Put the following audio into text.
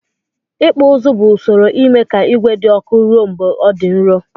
Ikpụ ụzụ bu usoro ime ka igwe di ọkụ rụọ mgbe ọ di nrọ.